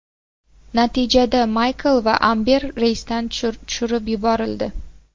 Natijada Maykl va Amber reysdan tushirib yuborildi.